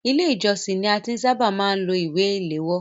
Ilé ìjósìn ni a ti ṣábà máa ń lo ìwé ìléwọ́.